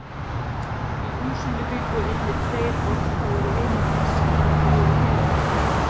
Í húsinu bjuggu einnig tveir orðfáir vinir hans sem alltaf voru með honum.